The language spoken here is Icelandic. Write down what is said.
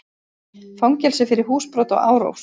Fangelsi fyrir húsbrot og árás